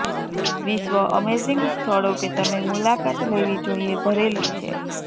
વિશ્વ અમેઝિંગ સ્થળો કે તમે મુલાકાત લેવી જોઈએ ભરેલી છે